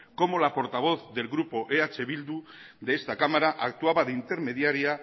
cómo la portavoz del grupo eh bildu de esta cámara actuaba de intermediaria